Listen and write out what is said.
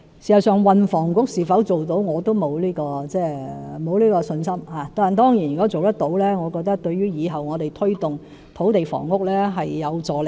事實上，運房局的改組是否可以做到，我也沒有信心，但當然如果做到的話，我認為對以後推動土地房屋政策是有助力的。